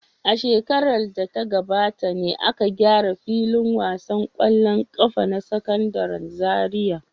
A shekarar da ta gabata ne aka gyara filin wasan ƙwallon ƙafa na Sakandaren Zariya.